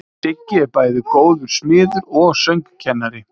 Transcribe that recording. Siggi er bæði góður smiður og söngkennari.